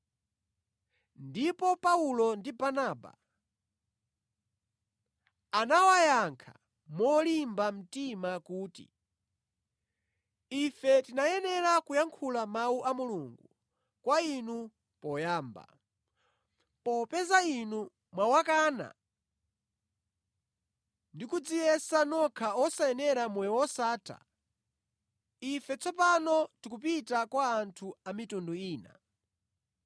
Ndipo Paulo ndi Barnaba anawayankha molimba mtima kuti, “Ife tinayenera kuyankhula Mawu a Mulungu kwa inu poyamba. Popeza inu mwawakana ndi kudziyesa nokha osayenera moyo wosatha, ife tsopano tikupita kwa anthu a mitundu ina.